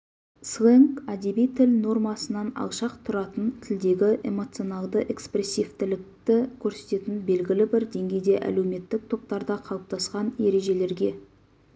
сленг әдеби тіл нормасынан алшақ тұратын тілдегі эмоционалдыэкспрессивтілікті көрсететін белгілі бір деңгейде әлеуметтік топтарда қалыптасқан ережелерге